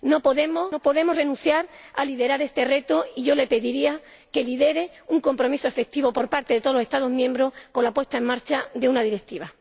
No podemos renunciar a liderar este reto y yo le pediría que lidere un compromiso efectivo por parte de todos los Estados miembros con la puesta en marcha de una directiva.